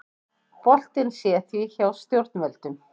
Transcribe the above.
Boltinn sé því hjá stjórnvöldum